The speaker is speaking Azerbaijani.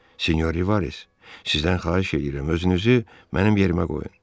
Sinyor Rivaris, sizdən xahiş eləyirəm, özünüzü mənim yerimə qoyun.